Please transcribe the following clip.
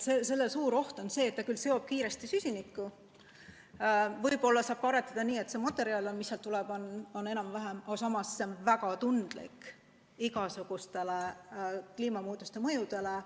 Selle puhul on suur oht see, et see küll seob kiiresti süsinikku ja võib-olla saab ka aretada nii, et see materjal, mis sealt tuleb, on enam-vähem korralik, aga samas on see väga tundlik igasuguste kliimamuutuste mõjude suhtes.